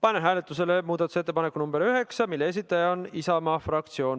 Panen hääletusele muudatusettepaneku nr 9, mille esitaja on Isamaa fraktsioon.